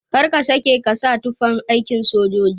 Kar ka sake ka sa tufan aikin sojoji